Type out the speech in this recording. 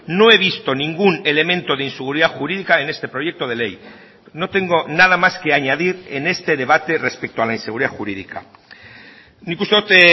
no he visto ningún elemento de inseguridad jurídica en este proyecto de ley no tengo nada más que añadir en este debate respecto a la inseguridad jurídica nik uste dut